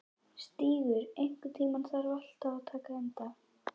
Stígur, einhvern tímann þarf allt að taka enda.